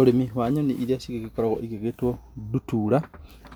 Ũrimi wa nyoni iria cigĩkoragwo cigĩgĩtwo ndutura,